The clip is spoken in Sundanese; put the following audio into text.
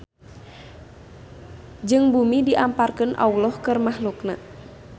Jeung bumi diamparkeun Alloh keur mahluk-Na.